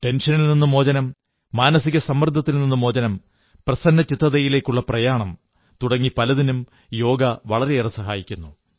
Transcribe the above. ടെൻഷനിൽ നിന്നു മോചനം മാനസിക സമ്മർദ്ദത്തിൽ നിന്നു മോചനം പ്രസന്നചിത്തതയിലേക്കുള്ള പ്രയാണം തുടങ്ങി പലതിനും യോഗ വളരെയേറെ സഹായിക്കുന്നു